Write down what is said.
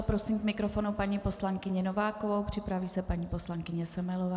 A prosím k mikrofonu paní poslankyni Novákovou, připraví se paní poslankyně Semelová.